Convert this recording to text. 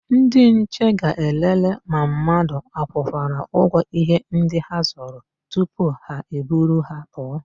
Ndịnche ga-elelee ma mmadụ akwụkwara ụgwọ íhé ndị ha zụrụ tupu ha eburu ha pụọ.